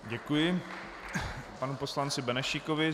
Děkuji panu poslanci Benešíkovi.